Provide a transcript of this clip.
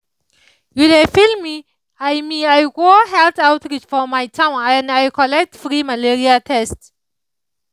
you dey feel me i me i go health outreach for my town and i collect free malaria test